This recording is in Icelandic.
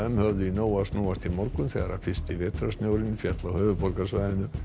höfðu í nógu að snúast í morgun þegar fyrsti féll á höfuðborgarsvæðinu